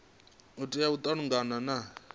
tea u ita malugana na